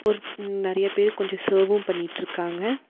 ஒர் ம் நெறையா பேரு கொஞ்சோ சர்வ்வு பண்ணிட்ருக்காங்க.